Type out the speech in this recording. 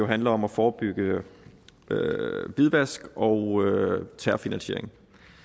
handler om at forebygge hvidvask og terrorfinansiering